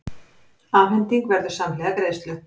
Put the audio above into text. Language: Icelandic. Afhending verður samhliða greiðslu